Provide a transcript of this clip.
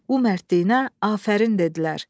Bu mərdliyinə afərin dedilər.